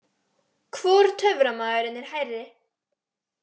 Hvor töframaðurinn er hærri?